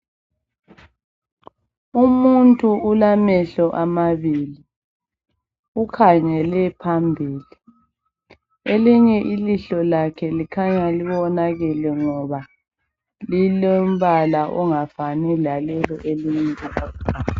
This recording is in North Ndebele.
Umuntu ulamehlo amabili ukhangele phambili elinye ilihlo lakhe likhanya libonakele ngoba lilombala ongafani lalelo elinye